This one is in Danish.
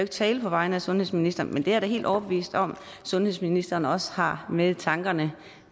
tale på vegne af sundhedsministeren men jeg er da helt overbevist om at sundhedsministeren også har med i tankerne